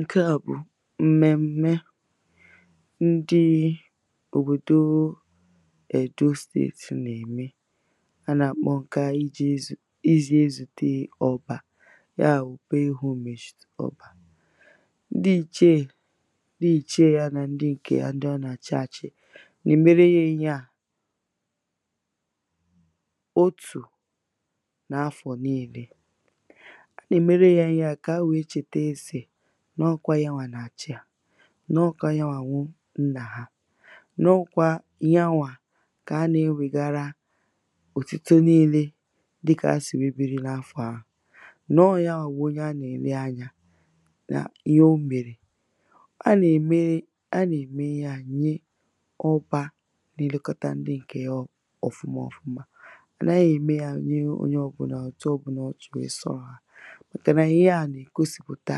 ǹke à bụ̀ m̀mèm̀mè ndị òbòdo èdo steeti nà-ème a nà-àkpọ ǹkè iji̇ ezù ezùte ọbȧ ya wùkpe homage ọbȧ ndị ichèe nà ichè ya nà ndị ǹkè ya ndị a nà-àchaàchì nà-èmere ihe ȧ otú na afọ niile. Ha na mere ya ihe à n’ọkwa ya nwàa n’àchi ha. nọkwa yanwà kà a nà-enwėgara òtito niilė dịkà asì wee biri n’afọ̀ à n’ọkwa yanwà onye a nà-èle anyȧ n’ihe o m̀mèrè a nà-ème ya nye ọba nà-elekọta ndi ǹkè ya ọ̀fụma ọ̀fụma a nà-ème ya onye ọ̀bụlà ọ̀tọ ọ̀bụlà ọ tụ̀wè ị sọ ha màkà nà ihe à nà-ègosìpụ̀ta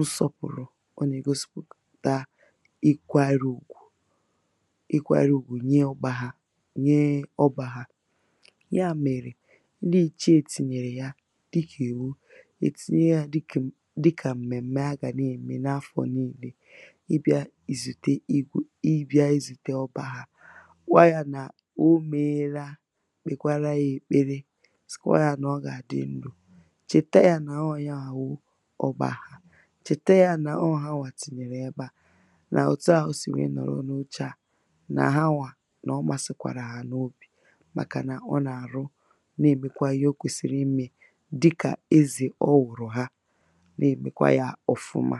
usȯpùrù ọ nà-ègosipù taa ịkwarị ùgwù, ịkwarị ùgwù nye ọ̀gba hȧ nye ọ̀gba hȧ ya mèrè ndi èche ètinye ya dịkà èwu ètinye yȧ dịkà m̀mèm̀me ha gà na-ème n’afọ nii̇lė ịbịa ìzùte ìgwù ịbịa ìzùte ọ̀gba hȧ kwà ya nà o megheela kpèkwara ya èkpere sikwà yȧ nà ọ gà àdị ndụ̀ chèta yȧ nà ahụ̀ ya mà wụ chète yȧ nà o hawà tịnyèrè ẹbẹȧ nà òtù ahụ̀ sì nwẹ nọ̀rọ̀ n’uchà à nà hawà nà ọmȧsị̇ kwàrà hà n’obi̇ màkà nà ọ nà àrụ nà ẹ̀mẹ̀kwa ihe o kwẹ̀sị̀rị̀ mmẹ̇ dịkà eze ọ wụ̀rụ̀ ha nà ẹ̀mẹ̀kwa yȧ ọ̀fụma